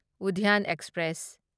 Udyan express